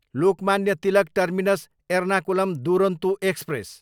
Lokmanya Tilak terminus, Ernakulam Duronto express